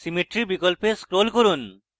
symmetry বিকল্পে scroll করুন